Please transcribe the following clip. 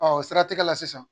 o siratigɛ la sisan